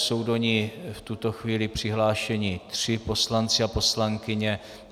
Jsou do ní v tuto chvíli přihlášeni tři poslanci a poslankyně.